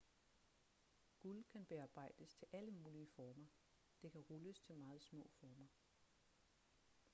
guld kan bearbejdes til alle mulige former det kan rulles til meget små former